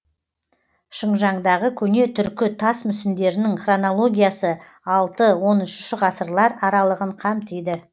шыңжаңдағы көне түркі тас мүсіндерінің хронология аясы алты он үшінші ғасырлар аралығын қамтиды